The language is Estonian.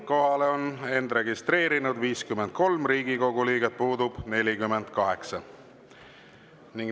Kohalolijaks on registreerunud 53 Riigikogu liiget, puudub 48.